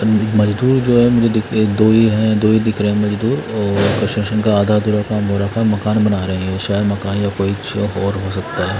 मजदूर जो है मुझे दो ही- दो ही दिख रहे हैं मजदूर शन का आधा मकान बना रहे हैं शायद मकान या कोई और हो सकता है।